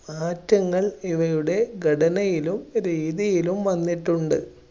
മാറ്റങ്ങൾ ഇവരുടെ ഘടനയിലും രീതിയിലും വന്നിട്ടുണ്ട്.